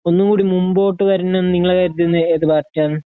ഒന്നും കൂടി മുമ്പോട്ട് വരണമെന്ന് നിങ്ങള് കരുതുന്ന ഏത് പാർട്ടിയാണ്